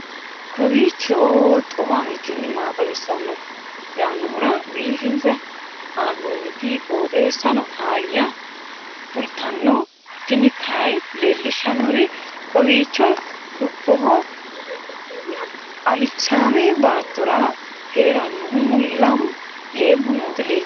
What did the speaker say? kowiicho xuma mtini maa xawissanno yaannohura biifinse haa'noonniti qooxeessano faayya kultanno tini kayi leellishshannori kowiicho dubboho alichaame baattora heerannohu leeemu nooti leeltani nooe